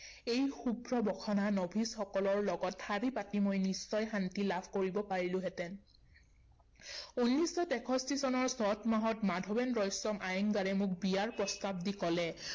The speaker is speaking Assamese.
এই শুভ্ৰবসনা নভিছসকলৰ লগত শাৰী পাতি মই নিশ্চয় শান্তি লাভ কৰিব পাৰিলোহেঁতেন। উনৈচশ তেষষ্ঠি চনৰ চত মাহত মাধৱেন ৰয়ছম আয়েঙ্গাৰে মোক বিয়াৰ প্ৰস্তাৱ দি ক’লে